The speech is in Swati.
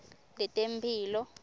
letemphilo